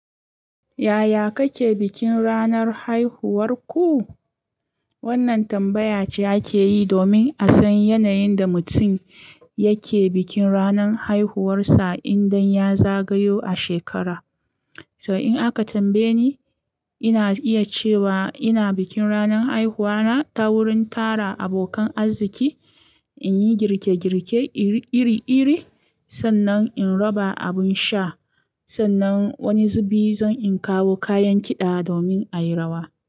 Yaya kake bikin ranar haihuwarku? Wannan tambaya ce ake yi domin a san yanayin da mutum yake bikin ranar haihuwarsa idan ya zagayo a shekara. To in aka tambaye ni, ina iya cewa ina bikin ranar haihuwa na ta wurin tara abokan arziki, in yi girke-girke iri-iri, sannan in raba abin sha, sannan wani zubi zan in kawo kayan kiɗa domin a yi rawa.